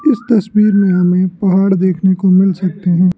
इस तस्वीर में हमें पहाड़ देखने को मिल सकते हैं।